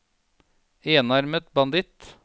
enarmet banditt